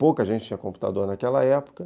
Pouca gente tinha computador naquela época.